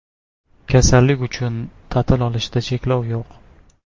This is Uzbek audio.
Kasallik uchun ta’til olishda cheklov yo‘q.